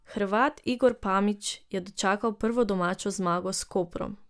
Hrvat Igor Pamić je dočakal prvo domačo zmago s Koprom.